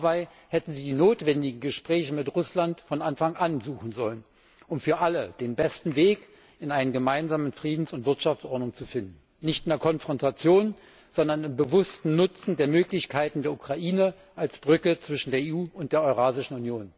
Dabei hätten Sie die notwendigen Gespräche mit Russland von Anfang an suchen sollen, um für alle den besten Weg in eine gemeinsame Friedens und Wirtschaftsordnung zu finden nicht in der Konfrontation, sondern im bewussten Nutzen der Möglichkeiten der Ukraine als Brücke zwischen der EU und der Eurasischen Union.